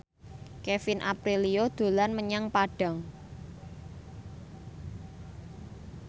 Kevin Aprilio dolan menyang Padang